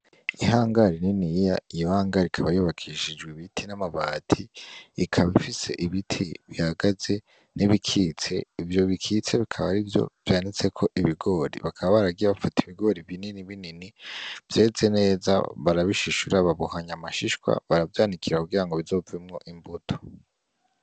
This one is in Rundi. Ihangare niniya iyo hangare ikaba yubakishijwe ibiti n’amabati, ikaba ifise ibiti bihagaze ni bikitse , ivyo bikitse bikaba arivyo vyanitseko ibigori. Bakaba baragiye bafata ibigori binini binini vyeze neza barabishishura babohanya amashishwa baravyanikira kugira ngo bizovemwo imbuto.